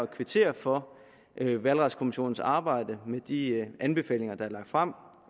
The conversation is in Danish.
kvittere for valgretskommissionens arbejde og de anbefalinger der er lagt frem